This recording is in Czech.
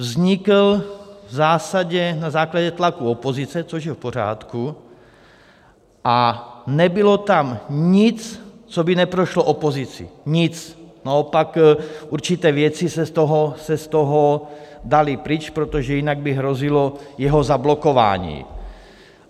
Vznikl v zásadě na základě tlaku opozice, což je v pořádku, a nebylo tam nic, co by neprošlo opozicí, nic, naopak určité věci se z toho daly pryč, protože jinak by hrozilo jeho zablokování.